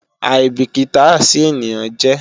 aìbìkítà sí ènìyàn jẹ́